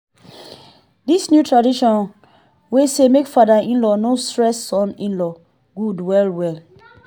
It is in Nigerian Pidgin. this new tradition wey say make father in-laws no stress son in-laws good well well.